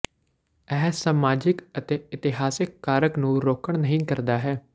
ਇਹ ਸਮਾਜਿਕ ਅਤੇ ਇਤਿਹਾਸਕ ਕਾਰਕ ਨੂੰ ਰੋਕਣ ਨਹੀ ਕਰਦਾ ਹੈ